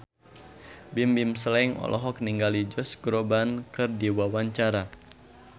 Bimbim Slank olohok ningali Josh Groban keur diwawancara